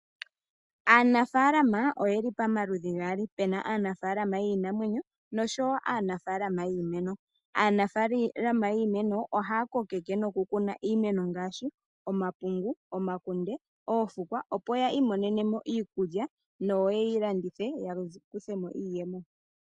Aanafaalama oye li pamaludhi gaali, pe na aanafaalama yiinamwenyo nosho woo yiimeno. Aanafaalama yiimeno ohaya kokeke nokukuna iimeno ngaashi: omapungu, omakunde noofukwa opo ya i monene mo iikulya nenge ye yi landithe, opo ya vule okumona mo iiyemo.